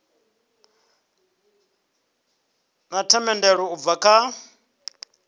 na themendelo u bva kha